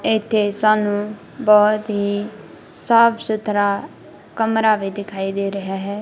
ਇੱਥੇ ਸਾਨੂੰ ਬਹੁਤ ਹੀ ਸਾਫ ਸੁਥਰਾ ਕਮਰਾ ਵੀ ਦਿਖਾਈ ਦੇ ਰਿਹਾ ਹੈ।